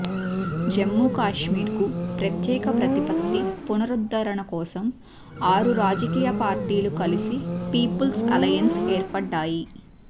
జమ్ముకాశ్మీర్కు ప్రత్యేక ప్రతిపత్తి పునరుద్ధరణ కోసం ఆరు రాజకీయ పార్టీలు కలసి పీపుల్స్ అలయెన్స్గా ఏర్పడ్డాయి